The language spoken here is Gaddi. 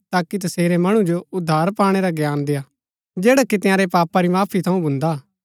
ताकि तसेरै मणु जो उद्धार पाणै रा ज्ञान देआ जैडा कि तंयारै पापा री माफी थऊँ भून्दा हा